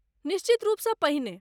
निश्चित रूपसँ पहिने।